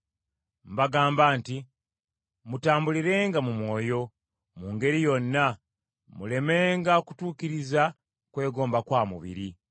Mbagamba nti, mutambulirenga mu Mwoyo, mu ngeri yonna, mulemenga kutuukiriza kwegomba kwa mubiri.